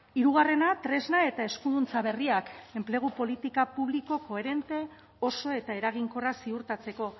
hirugarrena tresna eta eskuduntza berriak enplegu politika publiko koherente oso eta eraginkorra ziurtatzeko